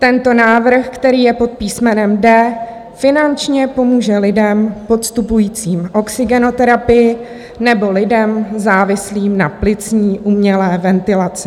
Tento návrh, který je pod písmenem D, finančně pomůže lidem podstupujícím oxygenoterapii nebo lidem závislým na plicní umělé ventilaci.